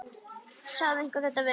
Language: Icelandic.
Sagði einhver þetta við mig?